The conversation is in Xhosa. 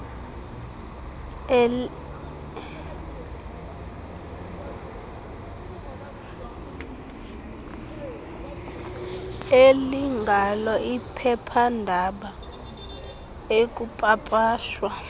elingalo iphephandaba ekupapashwa